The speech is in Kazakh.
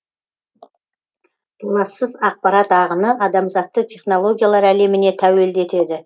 толассыз ақпарат ағыны адамзатты технологиялар әлеміне тәуелді етеді